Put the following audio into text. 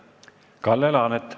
Kalle Laanet.